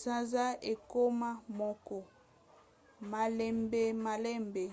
sanza ekoma moko malembemalembe